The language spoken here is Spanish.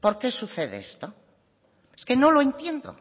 por qué sucede esto es que no lo entiendo